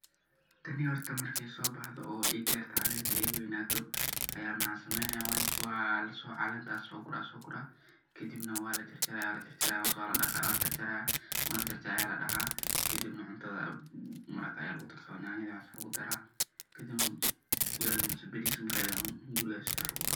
Tani horta markey sobaxdo oo ey garto calenta ey weynato aya waxan sameynaya calenta lasogura kadibna walajarjaraya marki lajarjaro aya ladaqa kadibna cuntada ama maraqa aya lugudaraya oo yanyada waxas lugudaraya kadibna fayasi ama baris waxaheysatid lugudara.